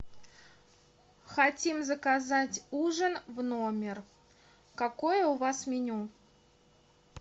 хотим заказать ужин в номер какое у вас меню